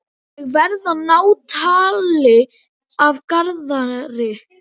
Ég verð að ná tali af Garðari.